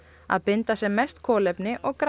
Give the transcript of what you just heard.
að binda sem mest kolefni og græða